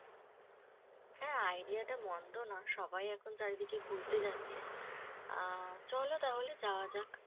হ্যাঁ idea টা মন্দ না । সবাই এখন চারিদিকে ঘুরতে যাচ্ছে। আ চলো তাহলে যাওয়া যাক।